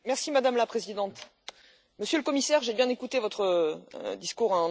Madame la Présidente, Monsieur le Commissaire, j'ai bien écouté votre discours.